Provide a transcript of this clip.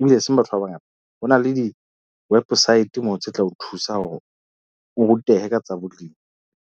Ebile e seng batho ba bangata. Ho na le di wepesaete moo tse tla o thusa hore o rutehe ka tsa bolemi.